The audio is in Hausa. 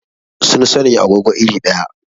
Sun sanya agogo iri ɗaya.